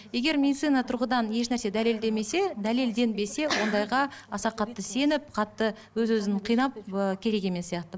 егер медицина тұрғыдан ешнәрсе дәлелдемесе дәлелденбесе ондайға аса қатты сеніп қатты өз өзін қинап ыыы керек емес сияқты